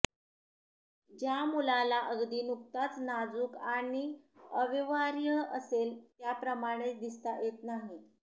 ज्या मुलाला अगदी नुकताच नाजूक आणि अव्यवहार्य असेल त्याप्रमाणेच दिसता येत नाही